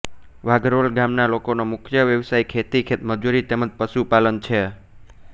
વાઘરોલ ગામના લોકોનો મુખ્ય વ્યવસાય ખેતી ખેતમજૂરી તેમ જ પશુપાલન છે